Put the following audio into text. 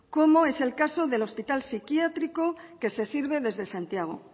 como es el caso del hospital psiquiátrico que se sirve desde santiago